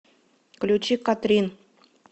включи катрин